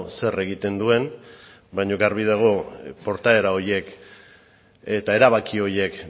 zer egiten duen baino garbi dago portaera horiek eta erabaki horiek